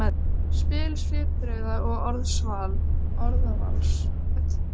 spil svipbrigða og orðavals, sem kom illa við Valdimar.